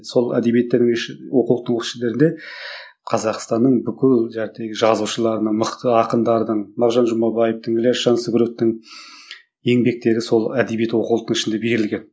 сол әдебиеттерінің іштерінде қазақстанның бүкіл жазушылардың мықты ақындардың мағжан жұмабаевтың ілияс жансүгіровтің еңбектері сол әдебиет оқулықтың ішінде берілген